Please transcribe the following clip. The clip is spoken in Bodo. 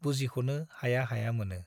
बुजिख'नो हाया हाया मोनो।